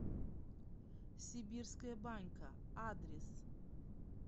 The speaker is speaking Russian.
сибирская банька адрес